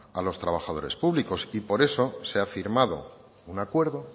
a los trabajadores públicos y por eso se ha firmado un acuerdo